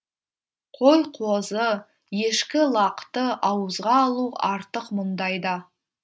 қой қозы ешкі лақты ауызға алу артық мұндайда